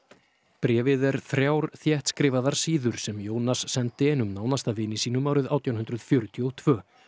bréfið er þrjár þéttskrifaðar síður sem Jónas sendi einum nánasta vini sínum árið átján hundruð fjörutíu og tvö